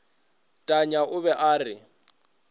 tanya o be a re